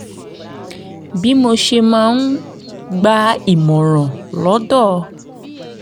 bí mo ṣe máa ń gba ìmọ̀ràn lọ́dọ̀